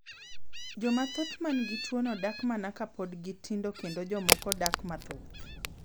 Joma thoth man gi tuoni dak mana ka pod gi tindo kendo jomoko dak mathoth.